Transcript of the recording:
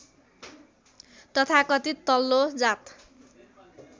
तथाकथित तल्लो जात